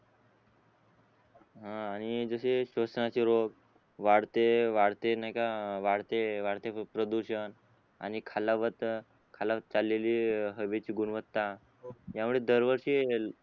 हा आणि दुसरी शोषणाच्या रोग वाढते वाढते नाही का अं वाढते वाढते खूप प्रदूषण आणि खालावत खालावत चालली हवे ची गुणवत्ता हो एवढी दरवर्षी